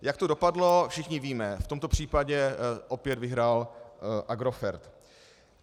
Jak to dopadlo, všichni víme - v tomto případě opět vyhrál Agrofert.